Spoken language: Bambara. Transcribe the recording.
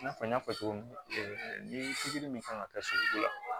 I n'a fɔ n y'a fɔ cogo min ni pikiri min kan ka kɛ sogo la